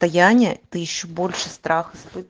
стояние ты ещё больше страх